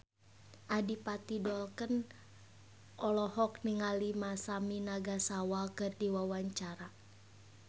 Adipati Dolken olohok ningali Masami Nagasawa keur diwawancara